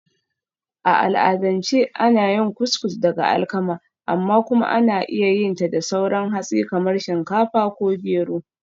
A al'adance ana yin Couscous daga alkama, amma kuma ana iya yin ta da sauran hatsi kamar shinkafa ko gero.